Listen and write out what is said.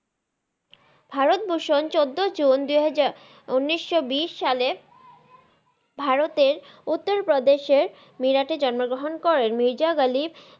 ভারত ভুসন চোদ্দ জুন দুই হাজার উনিশশো বিশ সালে ভারতের উত্তরপ্রদেসে জন্মগ্রহণ করেন মিরজা গালি